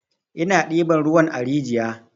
Ina ɗiban ruwan a rijiya.